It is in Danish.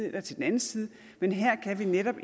eller til den anden side men her kan vi netop